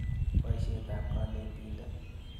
Poisyet ap kanetindet.